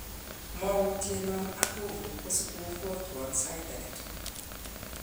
Moutyen non ak kovu kosikobwatwan sait agetugul.